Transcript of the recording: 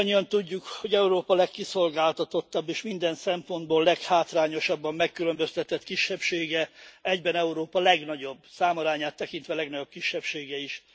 Mindannyian tudjuk, hogy Európa legkiszolgáltatottabb és minden szempontból leghátrányosabban megkülönböztetett kisebbsége egyben Európa legnagyobb, számarányát tekintve legnagyobb kisebbsége is.